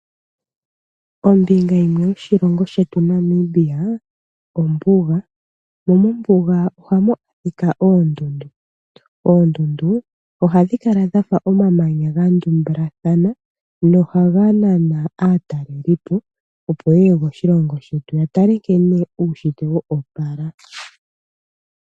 Ombinga yimwe yoshilongo shetu shaNamibia, ombuga, mombuga ohamu adhika oondundu, oondundu ohadhi kala dhafa omamanya gandumbilathana na ohaga nana aataleli po opo yeye koshilongo shetu yatale nkene uunshitwe woopala.